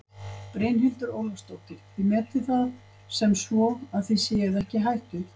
Brynhildur Ólafsdóttir: Þið metið það sem svo að þið séuð ekki í hættu?